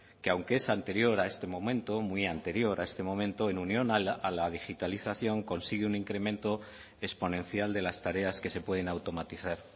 que aunque es anterior a este momento muy anterior a este momento en unión a la digitalización consigue un incremento exponencial de las tareas que se pueden automatizar